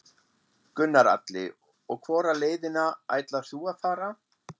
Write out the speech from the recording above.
Gunnar Atli: Og hvora leiðina ætlar þú að fara?